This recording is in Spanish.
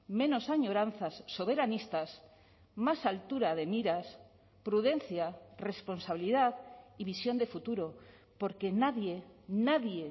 menos añoranzas soberanistas más altura de miras prudencia responsabilidad y visión de futuro porque nadie nadie